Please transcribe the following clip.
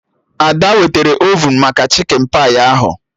Ada wetara ovun maka chikin pai ahụ